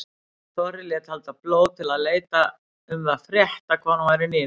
Þorri lét halda blót til að leita um það frétta hvar hún væri niður komin.